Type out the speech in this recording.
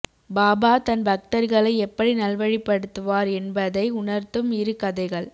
பாபா தன் பக்தர்களை எப்படி நல்வழிப்படுத்துவார் என்பதை உணர்த்தும் இரு கதைகள்